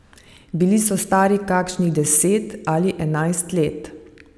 Bili so stari kakšnih deset ali enajst let.